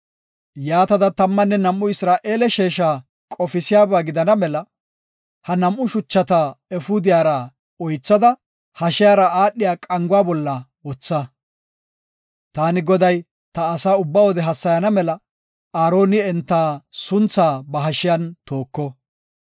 Yaatada tammanne nam7u Isra7eele sheesha qofisiyaba gidana mela ha nam7u shuchata efuudiyara oythada hashiyara aadhiya qanguwa bolla wotha. Taani, Goday, ta asaa ubba wode hassayana mela Aaroni enta sunthaa ba hashiyan tooko.